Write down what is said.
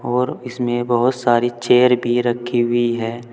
और इसमें बहुत सारी चेयर भी रखी हुई हैं।